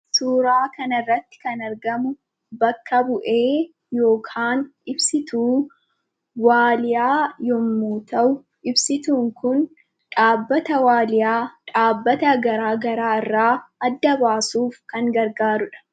Suuraa kana irratti kan argamu bakka bu'ee yookaan ibsituu waaliyaa yommuu ta'u, ibsituun kun dhaabbata waaliyaa, dhaabbata garaa garaa irraa adda baasuuf kan gargaarudha.